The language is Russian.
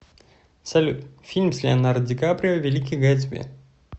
салют фильм с леонардо ди каприо великий гэтсби